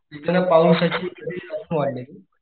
येताना पावसाचीजास्त वाढलेली.